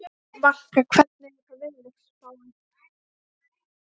Valka, hvernig er veðurspáin?